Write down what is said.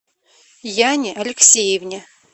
яне алексеевне